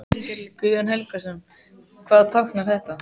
Guðjón Helgason: Hvað táknar þetta?